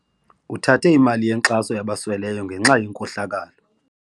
Uthathe imali yenkxaso yabasweleyo ngenxa yenkohlakalo.